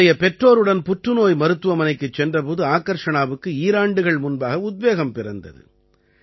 தன்னுடைய பெற்றோருடன் புற்றுநோய் மருத்துவமனைக்குச் சென்ற போது ஆகர்ஷணாவுக்கு ஈராண்டுகள் முன்பாக உத்வேகம் பிறந்தது